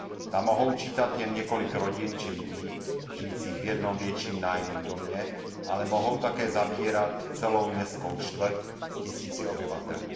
Ta mohou čítat jen několik rodin či lidí žijících v jednom větším nájemním domě, ale mohou také zabírat celou městskou čtvrť s tisíci obyvateli.